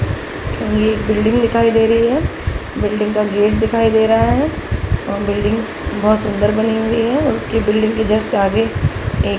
एक बिल्डिंग दिखाई दे रही है | बिल्डिंग का गेट दिखाई दे रहा है और बिल्डिंग बहुत सुन्दर बनी हुई है और उसके बिल्डिंग के जस्ट आगे एक --